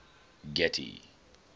getty